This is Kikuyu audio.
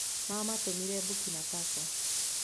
mamatumire Burkina Faso